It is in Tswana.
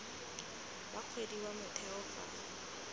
wa kgwedi wa motheo fa